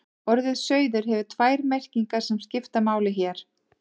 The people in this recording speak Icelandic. Orðið sauður hefur tvær merkingar sem skipta máli hér.